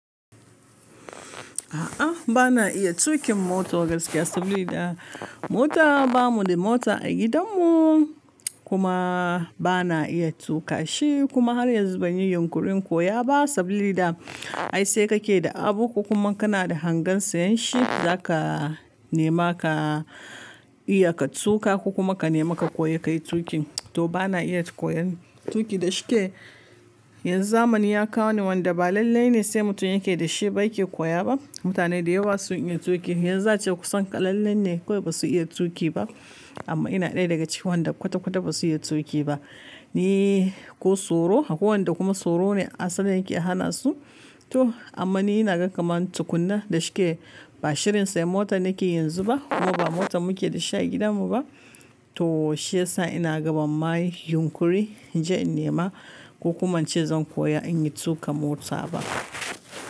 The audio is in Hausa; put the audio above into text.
A'a, ba na iya tuƙin mota gaskiya saboda mota ba mu da mota a gidanmu kuma ba na iya tuƙa shi kuma har yanzu ban yi yunkurin koya ba sabili da ai sai ka ke da abu kuma kana da hangen sayen shi za ka nema ka iya ka tuƙa ko kuma ka nema ka koyi ka yi tuƙin. To ba na iya koyan tuƙi da shike. Yanzu zamani ya kawo ni wanda ba lallai ne sai mutum ya ke da shi ba yake koya ba. Mutane da yawa sun iya tuƙi, yanzu za a ce kusan ƙalillan ne kawai ba su iya tuƙi ba. Amma ina ɗaya daga cikin wanda kwata-kwata ba su iya tuƙi ba ni ko tsoro. Akwai wanda kuma tsoro ne asalin yake hana su. To amma ni ina ga kaman tukunna da shike ba shirin sayen mota na ke yanzu ba kuma ba mota mu ke da shi a gidanmu ba. To shiyasa inaga ban ma yi yunƙuri inje in nema ko kuma ince zan koya inyi tuƙa mota ba.